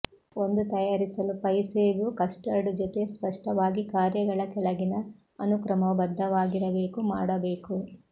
ಒಂದು ತಯಾರಿಸಲು ಪೈ ಸೇಬು ಕಸ್ಟರ್ಡ್ ಜೊತೆ ಸ್ಪಷ್ಟವಾಗಿ ಕಾರ್ಯಗಳ ಕೆಳಗಿನ ಅನುಕ್ರಮವು ಬದ್ಧವಾಗಿರಬೇಕು ಮಾಡಬೇಕು